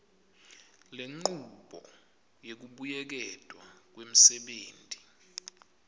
lenchubo yekubuyeketwa kwemsebenti